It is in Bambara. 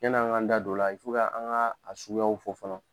Yan'an ŋ'an da d'o la an ŋa a suguyaw fɔ fɔlɔ